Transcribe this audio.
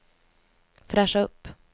fräscha upp